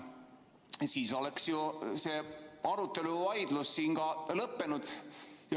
Kui jah, siis oleks see arutelu, vaidlus siin ka lõppenud.